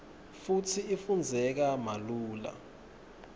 futsi ifundzeka malula